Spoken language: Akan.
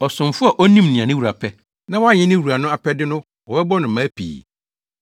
“Ɔsomfo a onim nea ne wura pɛ, na wanyɛ ne wura no apɛde no wɔbɛbɔ no mmaa pii.